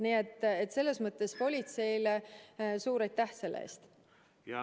Nii et politseile suur aitäh selle eest!